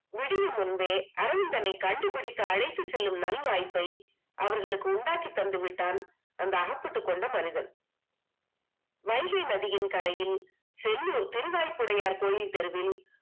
விடியும் முன்பே அரவிந்தனை கண்டுபிடித்து அழைத்துச் செல்லும் நல்வாய்ப்பை அவர்களுக்கு உண்டாக்கி தந்து விட்டான் அந்த அகப்பட்டு கொண்ட மனிதன் வைகை நதியின் கரையில் திரு நாய் புடையார் கோயில் தெருவில்